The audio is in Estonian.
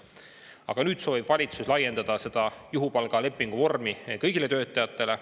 Aga nüüd soovib valitsus laiendada seda juhupalgalepingu vormi kõigile töötajatele.